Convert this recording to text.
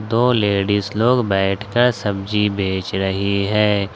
दो लेडीज लोग बैठ कर सब्जी बेच रही है।